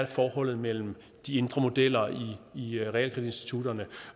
forholdet mellem de indre modeller i realkreditinstitutterne